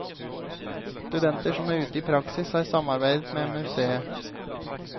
Studenter som er ute i praksis har samarbeidet med museet.